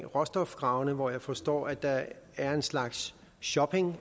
råstofgravene hvor jeg forstår at der er en slags shopping